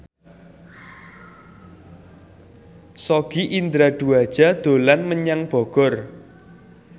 Sogi Indra Duaja dolan menyang Bogor